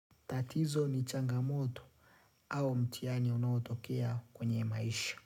Tatizo ni changamoto au mtihani unaotokea kwenye maisha.